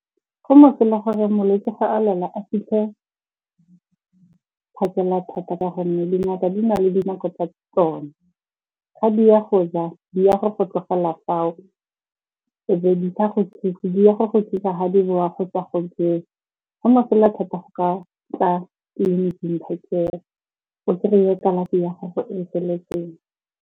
Go mosola gore molwetse fa a lwala a fitlhe phakela thata ka gonne dingaka di na le dinako tsa tsona. Ga di a go ja, di a go go tlogela fao, e be di sa go thuse. Di a go go thusa ga di boa go tswa go jeng. Go mosola thata go ka tla tleliniking go seng, o kry-e kalafi ya gago e feletseng.